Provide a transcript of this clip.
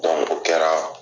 o kɛra